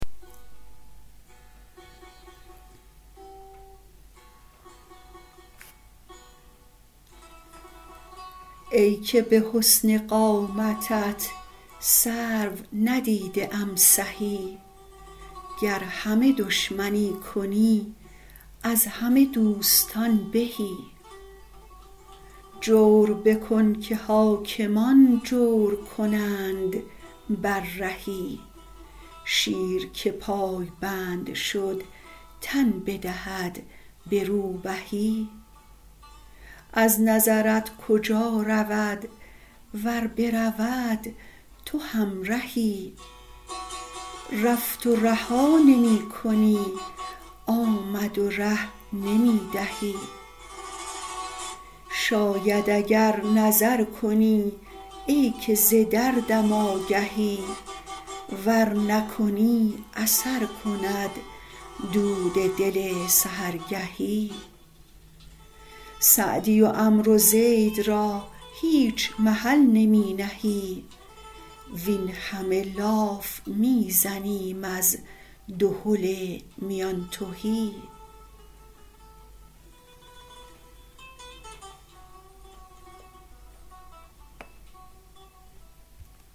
ای که به حسن قامتت سرو ندیده ام سهی گر همه دشمنی کنی از همه دوستان بهی جور بکن که حاکمان جور کنند بر رهی شیر که پایبند شد تن بدهد به روبهی از نظرت کجا رود ور برود تو همرهی رفت و رها نمی کنی آمد و ره نمی دهی شاید اگر نظر کنی ای که ز دردم آگهی ور نکنی اثر کند دود دل سحرگهی سعدی و عمرو زید را هیچ محل نمی نهی وین همه لاف می زنیم از دهل میان تهی